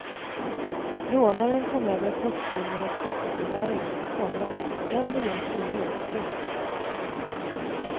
Rånaren kom över postkundernas skatteåterbäring, komma en miljon kronor. punkt